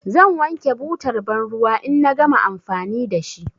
Zan wanke butar banruwa in na gama amfani da shi.